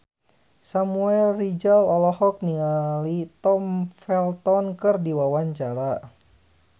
Samuel Rizal olohok ningali Tom Felton keur diwawancara